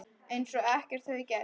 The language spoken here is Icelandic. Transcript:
Eins og ekkert hefði gerst.